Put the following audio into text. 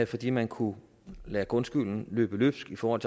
fordi man kunne lade grundskylden løbe løbsk i forhold